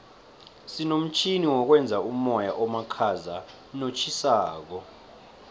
sinomtjhini wokwenza umoya omakhaza notjhisako